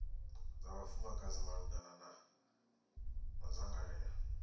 dza vhafumakadzi malugana na madzangalelo